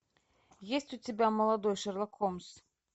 есть у тебя молодой шерлок холмс